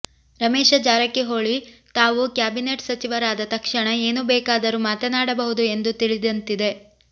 ರಮೇಶ ಜಾರಕಿಹೊಳಿ ತಾವು ಕ್ಯಾಬಿನೆಟ್ ಸಚಿವರಾದ ತಕ್ಷಣ ಏನು ಬೇಕಾದರೂ ಮಾತನಾಡಬಹುದು ಎಂದು ತಿಳಿದಂತಿದೆ